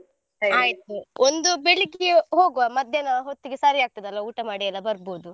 ಒಂದು ಬೆಳ್ಳಿಗ್ಗೆ ಹೋಗುವ ಮಧ್ಯಾಹ್ನ ಹೊತ್ತಿಗೆ ಸರಿಯಾಗ್ತಾದಲ್ಲಾ ಊಟ ಮಾಡಿಯೆಲ್ಲಾ ಬರ್ಬೋದು.